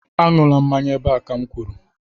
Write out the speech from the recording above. Aṅụla mmanya ebe a ka m kwuru